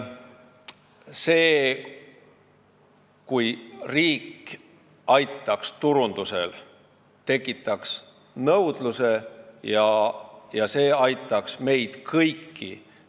See, kui riik aitaks turundusel ja tekitaks nõudluse, aitaks meid kõiki.